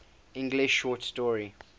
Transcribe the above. english short story